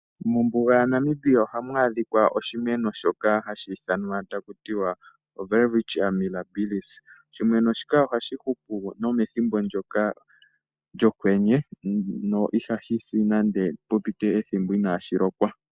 Mombuga ya Namibia ohamu adhikwa oshimeno shoka hashi ithanwa takutiwa o Welwitchia Mirabilis. Oshimeno shika ohashi hupu nomethimbo ndyoka lyokwenye, no ihashi si nande pu pite ethimbo inashi lokwa.